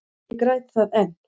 Ég græt það enn.